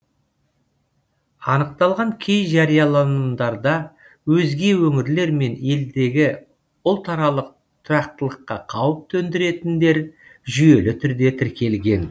анықталған кей жарияланымдарда өзге өңірлер мен елдегі ұлтаралық тұрақтылыққа қауіп төндіретіндер жүйелі түрде тіркелген